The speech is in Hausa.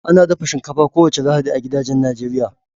Ana dafa shinkafa kowace Lahadi a gidajen Najeriya